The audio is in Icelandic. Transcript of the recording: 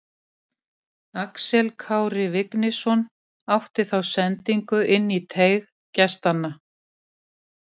Axel Kári Vignisson átti þá sendingu inn í teig gestanna.